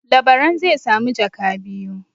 Labaran zai sami jaka biyu.